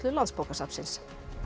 Landsbókasafnsins